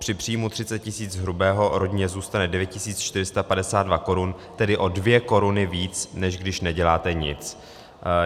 Při příjmu 30 tis. hrubého rodině zůstane 9 452 korun, tedy o 2 koruny víc, než když neděláte nic.